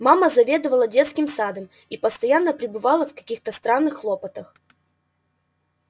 мама заведовала детским садом и постоянно пребывала в каких то странных хлопотах